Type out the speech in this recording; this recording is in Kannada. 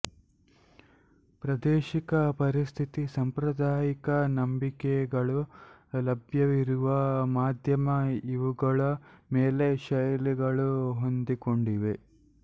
ಪ್ರಾದೇಶಿಕ ಪರಿಸ್ಥಿತಿ ಸಂಪ್ರದಾಯಿಕ ನಂಬಿಕೆಗಳು ಲಭ್ಯವಿರುವ ಮಾಧ್ಯಮ ಇವುಗಳ ಮೇಲೆ ಶೈಲಿಗಳು ಹೊಂದಿಕೊಂಡಿವೆ